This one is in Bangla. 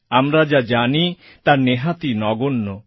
আমরা যা জানি তা নেহাতই নগণ্য